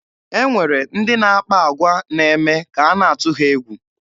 E nwere ndị na-akpa agwa na-eme ka a na-atụ ha egwu.